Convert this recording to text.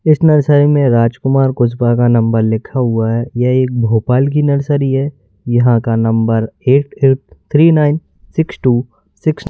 इस नर्सरी में राजकुमार कुजपा का नंबर लिखा हुआ है यह एक भोपाल की नर्सरी है यहां का number eight eight three nine six two six --